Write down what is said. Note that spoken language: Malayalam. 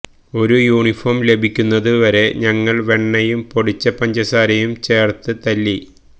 ഒരു യൂണിഫോം ലഭിക്കുന്നത് വരെ ഞങ്ങൾ വെണ്ണയും പൊടിച്ച പഞ്ചസാരയും ചേർത്ത് തല്ലി